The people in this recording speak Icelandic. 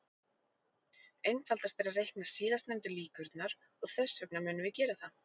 Einfaldast er að reikna síðastnefndu líkurnar, og þess vegna munum við gera það.